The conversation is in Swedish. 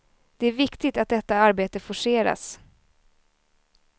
Det är viktigt att detta arbete forceras.